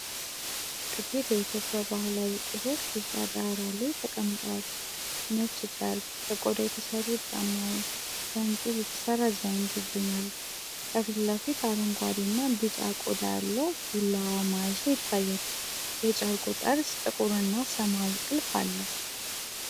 ጥቂት የኢትዮጵያ ባህላዊ ቁሶች ቢጫ ዳራ ላይ ተቀምጠዋል። ነጭ ጨርቅ፣ ከቆዳ የተሰሩ ጫማዎች፣ ከእንጨት የተሰራ ዘንግ ይገኛሉ። ከፊት ለፊት አረንጓዴና ቢጫ ቆዳ ያለው ቢላዋ መያዣ ይታያል። የጨርቁ ጠርዝ ጥቁርና ሰማያዊ ጥልፍ አለው።